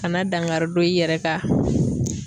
Kana dankari don i yɛrɛ ka